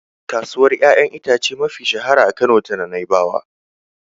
Kasuwar ƴaƴan itace mafi shahara a Kano tana Nai'bawa.